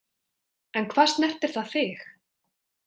En hvað snertir það þig?